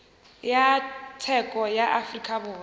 ya tsheko ya afrika borwa